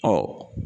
Ɔ